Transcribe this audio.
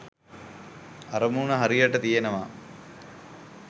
අරමුණු හරියට තියෙනවා